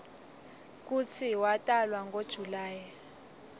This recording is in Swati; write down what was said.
kutsi watalwa ngo july